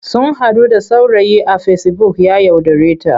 Sun haɗu da saurayi a fesibuk ya yaudareta.